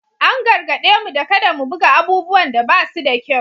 An gargaɗe mu da kada mu buga abubuwan da ba su da kyau